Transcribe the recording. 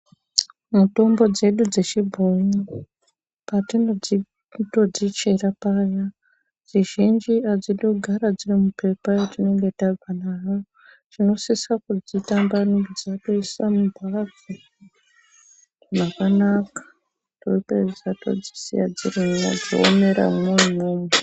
Mitombo dzedu dzechibhoyi patinodzitotichira paya zhinji hadzidi kugara dziri mupepa ratinenge tabva naro tinosisa kudzitambanudza toisa mumphatso makanaka topedza todzisiya dzirimwo dzoomeramwo imwomwo.